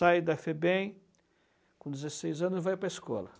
Sai da Febem com dezesseis anos e vai para a escola.